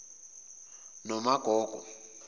nomagogo